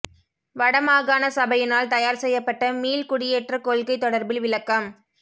வட மாகாணசபையினால் தயார் செய்யப்பட்ட மீள் குடியேற்றக் கொள்கை தொடர்பில் விளக்கம்